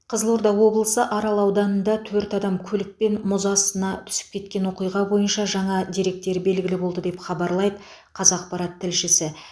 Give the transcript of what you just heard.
қызылорда облысы арал ауданында төрт адам көлікпен мұз астына түсіп кеткен оқиға бойынша жаңа деректер белгілі болды деп хабарлайды қазақпарат тілшісі